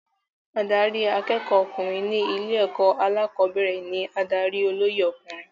Adarí akẹ́kọ̀ọ́ ọkùnrin ní ilé-ẹ̀kọ́ alẹ́kọ̀ọ́bẹ̀rẹ̀ ní adarí olóyè ọkùnrin.